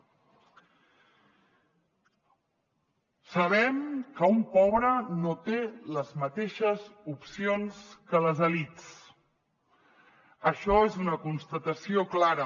sabem que un pobre no té les mateixes opcions que les elits això és una constatació clara